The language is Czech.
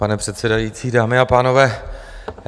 Pane předsedající, dámy a pánové.